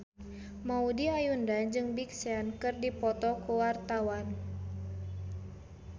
Maudy Ayunda jeung Big Sean keur dipoto ku wartawan